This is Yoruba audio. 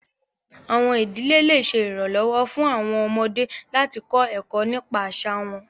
Awọn idile le ṣe iranlọwọ fun awọn ọmọde lati kọ ẹkọ nipa aṣa wọn